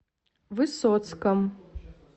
высоцком